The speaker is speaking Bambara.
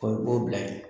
O ye b'o bila yen